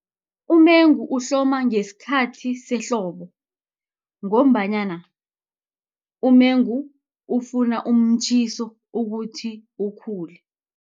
Umengu uhloma ngesikhathi sehlobo, ngombanyana umengu ufuna umtjhiso ukuthi ukhule.